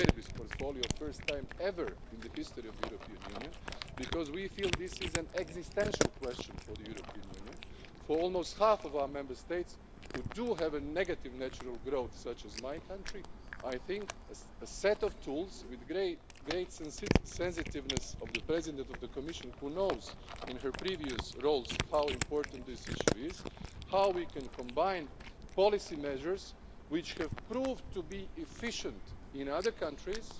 portfolio for first time ever in the history of the European Union it is this, which we feel to be an existential question for the European Union. For almost half of our Member States who have negative natural growth, such as my country, I think there is a need for a set of tools with the great sensitiveness of the President of the Commission who knows in her previous roles how important this issue is, how we can combine policy measures which have proved to be efficient in other countries,